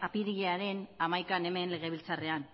apirilaren hamaikan hemen legebiltzarrean